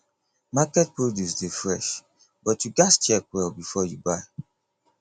market produce dey fresh but you gats check well before you buy